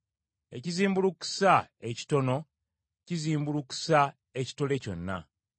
Ekizimbulukusa ekitono kizimbulukusa ekitole kyonna.